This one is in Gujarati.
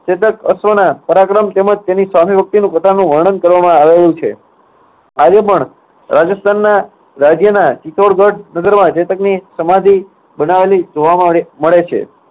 ચેતક અશ્વના પરાક્રમ તેમજ તેની સ્વામીભક્તિનું પોતાનું વર્ણન કરવામાં આવેલું છે. આજે પણ રાજસ્થાનના રાજ્યના ચિત્તોડગઢ નગરમાં ચેતકની સમાધિ બનાવેલી જોવામાં મ~મળે છે.